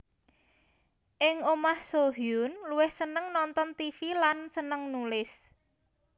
Ing omah Soo Hyun luwih seneng nonton tv lan seneng nulis